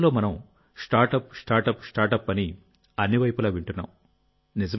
ఈ రోజుల్లో మనం స్టార్ట్అప్ స్టార్ట్అప్ స్టార్ట్అప్ అని అన్ని వైపులా వింటున్నాం